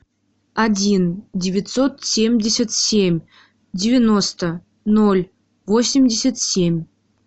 один девятьсот семьдесят семь девяносто ноль восемьдесят семь